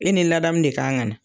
E ni ladamu de kan ka na